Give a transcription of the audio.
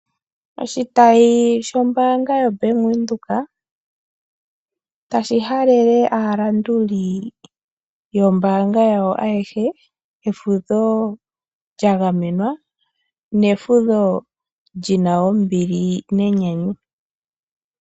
Oshitayi shombaanga yoBank windhoek otashi halele aalanduli yoombaanga yawo ayehe, efudho lyagamenwa nefudho lyina ombili nenyanyu.